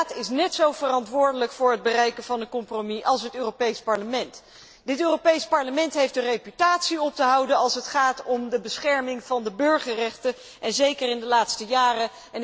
De Raad is net zo verantwoordelijk voor het bereiken van een compromis als het Europees Parlement. Dit Europees Parlement heeft een reputatie op te houden als het gaat om de bescherming van de burgerrechten, en zeker in de laatste jaren.